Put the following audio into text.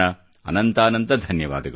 ಅನಂತಾನಂತ ಧನ್ಯವಾದಗಳು